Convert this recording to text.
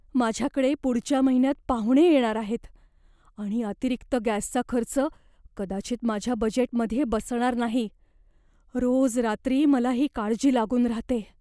माझ्याकडे पुढच्या महिन्यात पाहुणे येणार आहेत आणि अतिरिक्त गॅसचा खर्च कदाचित माझ्या बजेटमध्ये बसणार नाही. रोज रात्री मला ही काळजी लागून राहते.